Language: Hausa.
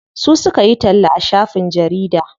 Su suka yi talla a shafin jarida.